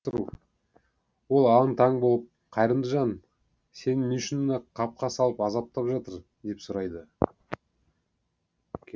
ол аң таң болып қайырымды жан сені не үшін қапқа салып азаптап жатыр деп сұрайды